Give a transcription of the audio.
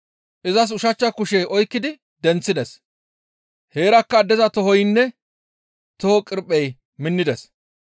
Izas ushachcha kushe oykkidi denththides. Heerakka addeza tohoynne toho qirphey minnides.